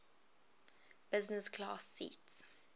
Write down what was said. business class seat